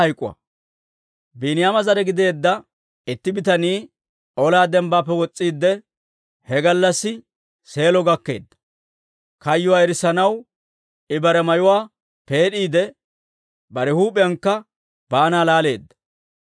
Biiniyaama zare gideedda itti bitanii olaa dembbaappe wos's'iide, he gallassi Seelo gakkeedda; kayyuwaa erissanaw I bare mayuwaa peed'iide, bare huup'iyankka baana laaleedda.